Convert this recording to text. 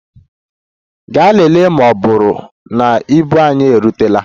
Gaa lelee ma ọ bụrụ na ibu anyị erutela!